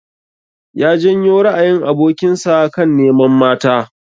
Ya janyo ra'ayin abokin sa kan neman mata.